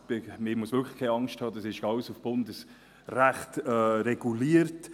Man muss wirklich keine Angst haben, dies ist alles im Bundesrecht reguliert.